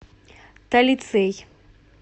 талицей